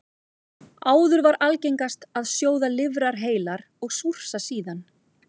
Áður var algengast að sjóða lifrar heilar og súrsa síðan.